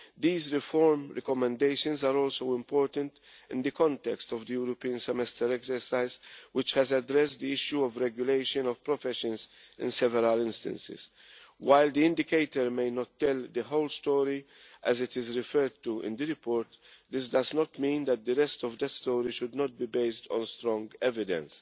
These reform recommendations are also important in the context of the European Semester exercise, which has addressed the issue of regulation of professions in several instances. While the indicator may not tell the whole story as it is referred to in the report, this does not mean that the rest of this story should not be based on strong evidence.